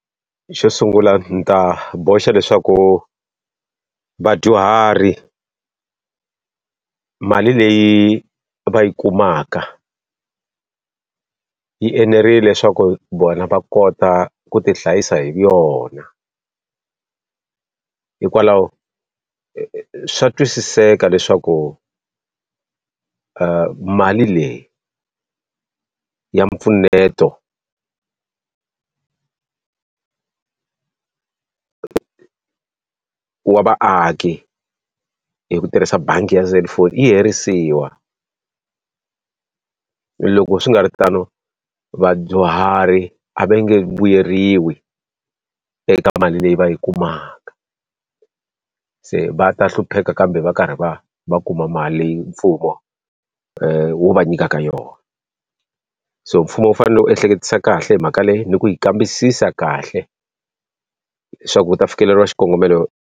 Xo sungula ni ta boxa leswaku vadyuhari mali leyi va yi kumaka yi enerile leswaku vona va kota ku ti hlayisa hi yona. Hikwalaho swa twisiseka leswaku mali leyi ya mpfuneto wa vaaki hi ku tirhisa bangi ya selufoni yi herisiwa. Loko swi nga ri tano vadyuhari a va nge vuyeriwi eka mali leyi va yi kumaka, se va ta hlupheka kambe va karhi va va kuma mali leyi mfumo wu va nyikaka yona. So mfumo wu fanele wu ehleketisisa kahle hi mhaka leyi, ni ku yi kambisisa kahle leswaku u ta fikeleriwa xikongomelo.